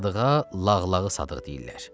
Sadığa Lağlağı Sadıq deyirlər.